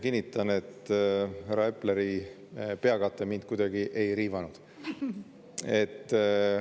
Kinnitan, et härra Epleri peakate mind kuidagi ei riivanud.